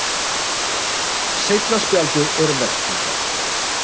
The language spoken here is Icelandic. Seinna spjaldið er verðskuldað.